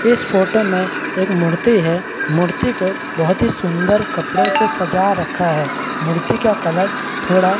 इस फोटो में एक मूर्ति है मूर्ति को बहुत ही सुन्दर कपड़ों से सजा रखा है मूर्ति का कलर थोड़ा --